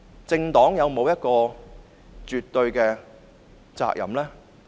政黨有沒有絕對的責任？